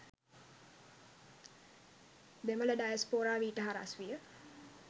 දෙමළ ඩයස්‍පෝරාව ඊට හරස් විය